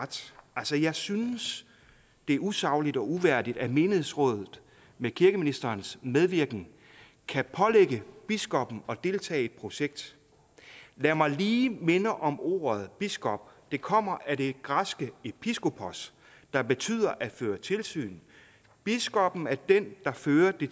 ret jeg synes det er usagligt og uværdigt at menighedsrådet med kirkeministerens medvirken kan pålægge biskoppen at deltage i et projekt lad mig lige minde om ordet biskop der kommer af det græske episkopos der betyder at føre tilsyn biskoppen er den der fører det